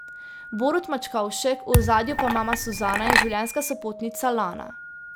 Borut Mačkovšek, v ozadju pa mama Suzana in življenjska sopotnica Lana.